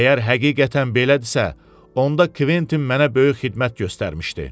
Əgər həqiqətən belədirsə, onda Quentin mənə böyük xidmət göstərmişdi.